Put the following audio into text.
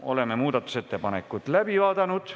Oleme muudatusettepanekud läbi vaadanud.